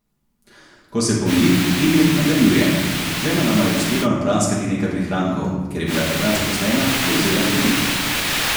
Ko se pomiri, Emir nadaljuje: 'Z ženo nama je uspelo napraskati nekaj prihrankov, ker je bila takrat zaposlena, je vzela kredit.